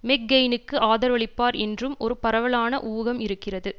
மெக்கெயினுக்கு ஆதரவளிப்பார் என்றும் ஒரு பரவலான ஊகம் இருக்கிறது